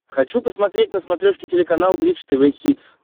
хочу посмотреть на смотрешке телеканал бридж тв хитс